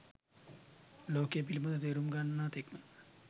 ලෝකය පිළිබඳ තේරුම් ගන්නා තෙක්ම